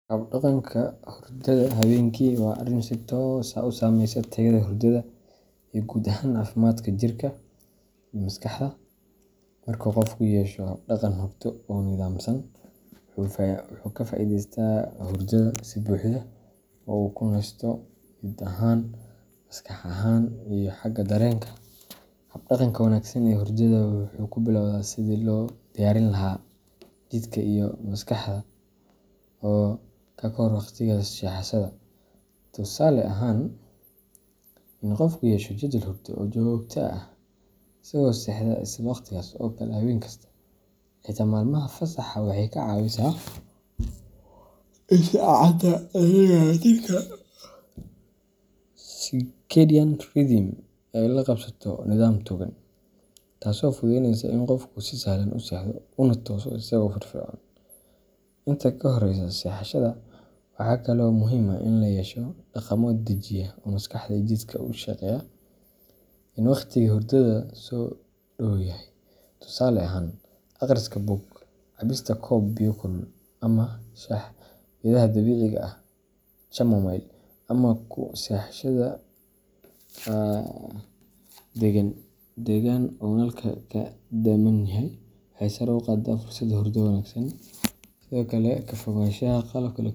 Habdhaqanka hurdada habeenkii waa arrin si toos ah u saameeya tayada hurdada iyo guud ahaan caafimaadka jirka iyo maskaxda. Marka qofku yeesho habdhaqan hurdo oo nidaamsan, wuxuu ka faa’iidaystaa hurdada si buuxda oo uu ku nasto jidh ahaan, maskax ahaan, iyo xagga dareenka. Habdhaqanka wanaagsan ee hurdada wuxuu ku bilowdaa sidii loo diyaarin lahaa jidhka iyo maskaxda ka hor waqtiga seexashada. Tusaale ahaan, in qofku yeesho jadwal hurdo oo joogto ah isagoo seexda isla wakhtigaas oo kale habeen kasta, xitaa maalmaha fasaxa waxay ka caawisaa in saacadda dabiiciga ah ee jirka circadian rhythm ay la qabsato nidaam togan, taasoo fududaynaysa in qofku si sahlan u seexdo una tooso isagoo firfircoon. Inta ka horreysa seexashada, waxa kale oo muhiim ah in la yeesho dhaqamo dejiya oo maskaxda iyo jidhka u sheegaya in waqtigii hurdada soo dhow yahay. Tusaale ahaan, akhriska buug, cabista koob biyo kulul ah ama shaah geedaha dabiiciga ah chamomile, ama ku seexashada degaan deggan oo nalka ka damman yahay, waxay sare u qaadaan fursadda hurdo wanaagsan. Sidoo kale, ka fogaanshaha qalabka.